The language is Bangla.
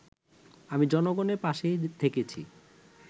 আমি জনগণের পাশেই থেকেছি